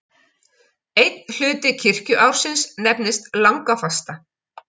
Einn hluti kirkjuársins nefnist langafasta.